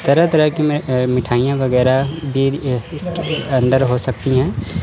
तरह तरह की अ मिठाइयां वगैरा भी इसके अंदर हो सकती हैं।